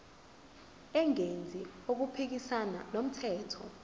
engenzi okuphikisana nomthetho